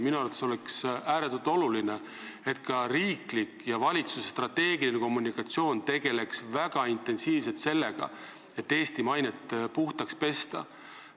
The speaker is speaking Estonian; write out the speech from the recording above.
Minu arvates oleks ääretult oluline, et ka riigi ja valitsuse strateegilise kommunikatsiooni raames tegeldaks väga intensiivselt sellega, et Eesti mainet puhtaks pesta.